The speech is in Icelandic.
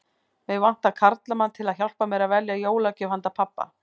Mig vantar karlmann til að hjálpa mér að velja jólagjöf handa pabba